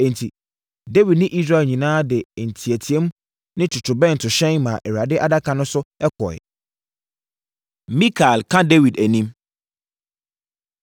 Enti, Dawid ne Israel nyinaa de nteateam ne ntotorobɛntohyɛn maa Awurade Adaka no so kɔɔeɛ. Mikal Ka Dawid Anim